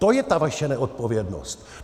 To je ta vaše neodpovědnost.